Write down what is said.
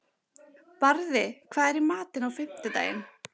Barði, hvað er í matinn á fimmtudaginn?